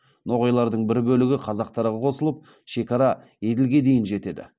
ноғайлардың бір бөлігі қазақтарға қосылып шекара еділге дейін жетеді